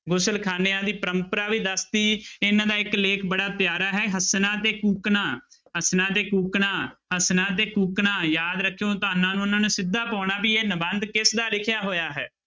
ਗੁਲਖਾਨਿਆਂ ਦੀ ਪਰੰਪਰਾ ਵੀ ਦੱਸ ਦਿਤੀ ਇਹਨਾਂ ਦਾ ਇੱਕ ਲੇਖ ਬੜਾ ਪਿਆਰਾ ਹੈ ਹੱਸਣਾ ਤੇ ਕੂਕਣਾ, ਹੱਸਣਾ ਤੇ ਕੂਕਣਾ, ਹੱਸਣਾ ਤੇ ਕੂਕਣਾ ਯਾਦ ਰੱਖਿਓ ਤੁਹਾਨਾਂ ਨੂੰ ਉਹਨਾਂ ਨੇ ਸਿੱਧਾ ਪਾਉਣਾ ਵੀ ਇਹ ਨਿਬੰਧ ਕਿਸਦਾ ਲਿਖਿਆ ਹੋਇਆ ਹੈ।